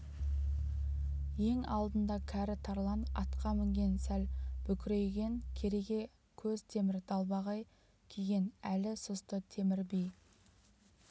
ең алдында кәрі тарлан атқа мінген сәл бүкірейген кереге көз темір далбағай киген әлі сұсты темір би